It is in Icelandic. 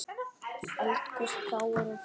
Eldgos, plágur og frosta